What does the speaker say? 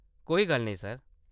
कोई गल्ल नेईं ,सर।